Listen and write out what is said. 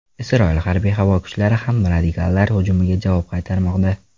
Isroil harbiy havo kuchlari ham radikallar hujumiga javob qaytarmoqda.